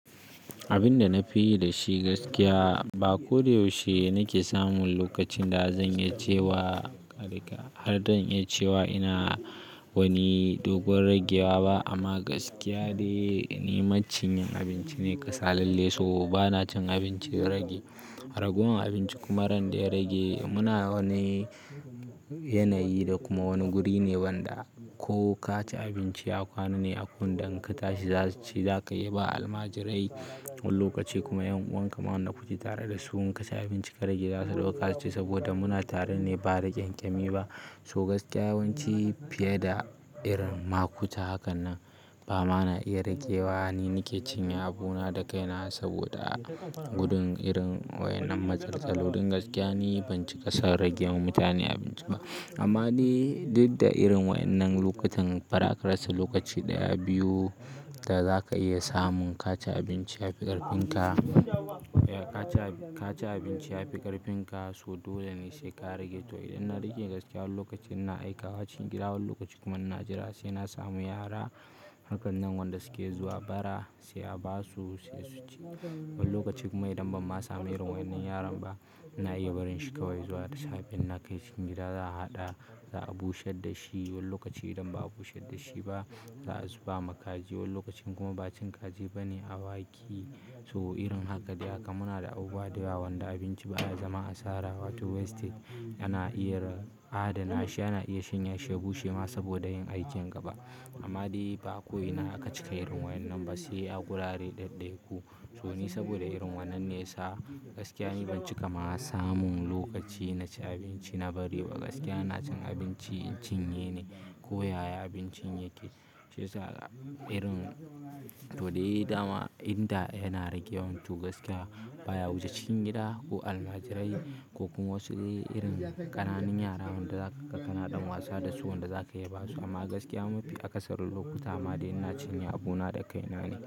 Abin da na fi yi da shi gaskiya ba ko da yaushe nake samun lokacin da zan iya cewa, harka, har dan iya cewa ina wani dogon ragewa ba. Amma gaskiya dai ni maciyin abinci ne kasalalle. So ba na cin abinci in rage. Ragowar abinci kuma ran da ya rage muna wani yanayi da kuma wani guri ne wanda ko ka ci abinci ya kwana ne. Akwai waɗanda in ka tashi zasu ci, za ka iya ba almajirai wani lokaci kuma ƴan'uwan ka ma wanda kuke tare dasu in ka ci abinci ka rage za su ɗauka su ci saboda muna tare ne ba da ƙyanƙyami ba. So gaskiya yawanci fiye da irin ma ku ta hakan nan ba ma na iya ragewa. Ni nake cinye abuna da kaina saboda gudun irin waƴannan matsaltsaloli don gaskiya ni ban cika son rage ma mutane abinci ba. Amma ni duk da irin waƴannan lokatan bara ka rasa lokaci ɗaya, biyu da za ka iya samun ka ci abinci ya fi ƙarfin ka, ka ci ka ci abinci ya fi ƙarfin ka. So dole ne sai ka rage to idan na rage gaskiya wani lokacin ina aikawa cikin gida, wani lokaci kuma ina jira sai na samu yara hakan nan wanda suke zuwa bara sai a ba su sai su ci. Wani lokaci kuma idan ban ma samu irin waƴannan yaran ba ina iya barin shi kawai zuwa da safe. In na kai cikin gida za'a haɗa, za'a busher da shi. Wani lokaci idan ba a busher da shi ba za a zuba ma kaji. Wani lokacin kuma ba cin kaji ba ne awaki, so irin haka dai haka muna da abubuwa dayawa wanda abinci ba ya zama asara. Wato wastage ana iya adana shi, ana iya shanya shi, ya bushe ma saboda yin aikin gaba. Amma dai ba ko ina aka cika irin waƴannan ba, sai a gurare ɗaɗɗaya ku. To ni saboda irin wannan ne yasa, gaskiya ni ban cika ma samun lokaci naci abinci na bari ba, gaskiya ina cin abinci in cinye ne ko yaya abincin yake shiyasa irin to dai dama inda yana ragewan to gaskiya baya wuce cikin gida ko almajirai ko kuma wasu irin ƙananun yara wanda zaka ga kana ɗan wasa da su wanda za ka iya ba su. Amma gaskiya mafi akasarin lokuta ma dai ina cinye abuna da kaina ne.